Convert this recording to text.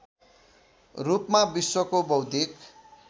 रूपमा विश्वको बौद्धिक